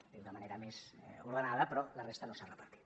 ho diu de manera més ordenada però la resta no s’ha repartit